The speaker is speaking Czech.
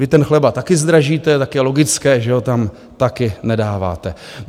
Vy ten chleba taky zdražíte, tak je logické, že ho tam taky nedáváte.